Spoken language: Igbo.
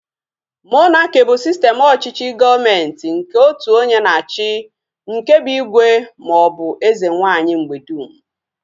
Monaki bụ sistem ọchịchị gọọmenti nke otu onye na-achị nke bụ igwe maọbụ eze nwaanyị mgbedum